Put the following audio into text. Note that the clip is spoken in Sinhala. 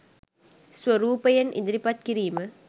ස්වරූපයෙන් ඉදිරිපත් කිරීම